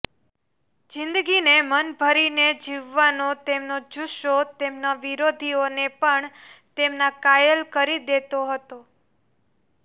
જિંદગીને મન ભરીને જીવવાનો તેમનો જુસ્સો તેમના વિરોધીઓને પણ તેમના કાયલ કરી દેતો હતો